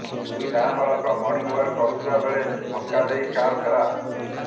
ଦୁଇ ନାବାଳକ ମର୍ଣ୍ଣିଂୱାକ୍ କରୁଥିବା ବେଳେ ଧକ୍କା ଦେଇ କାର୍ ଫେରାର୍